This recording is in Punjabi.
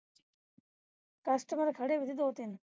customer ਖੜ੍ਹੀ ਵੀ ਸੀ ਦੋ ਤਿੰਨ